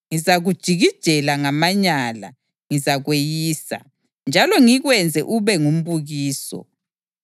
Ngizakujikijela ngamanyala, ngizakweyisa, njalo ngikwenze ube ngumbukiso.